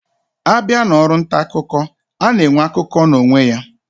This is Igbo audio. Abia na Ọrụ ntaakụkọ, ana enwe akụkọ na onwe ya